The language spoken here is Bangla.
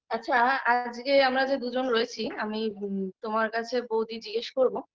আচ্ছা আজগে আমরা যে দুজন রয়েছি আমি তোমার কাছে বৌদি জিজ্ঞেস করবো